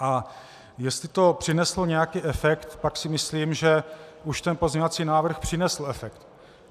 A jestli to přineslo nějaký efekt, tak si myslím, že už ten pozměňovací návrh přinesl efekt.